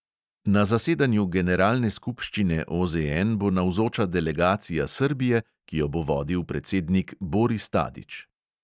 Na zasedanju generalne skupščine OZN bo navzoča delegacija srbije, ki jo bo vodil predsednik boris tadić.